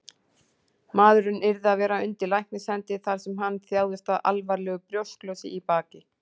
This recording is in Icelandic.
Maðurinn yrði að vera undir læknishendi, þar sem hann þjáðist af alvarlegu brjósklosi í baki.